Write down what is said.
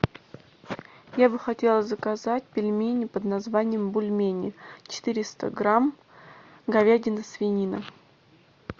я бы хотела заказать пельмени под названием бульмени четыреста грамм говядина свинина